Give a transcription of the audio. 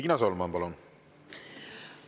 Riina Solman, palun!